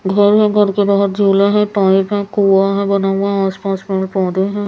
घर है घर के बाहर झूला है पाइप है कुआ है बना हुआ आसपास पेड़ पौधे है ।